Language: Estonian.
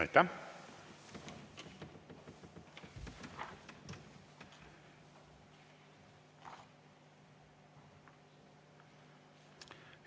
Aitäh!